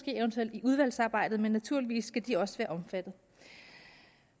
eventuelt i udvalgsarbejdet men naturligvis skal de også være omfattet